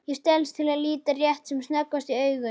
Ég stelst til að líta rétt sem snöggvast í augun.